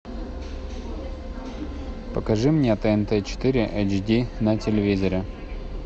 покажи мне тнт четыре эйч ди на телевизоре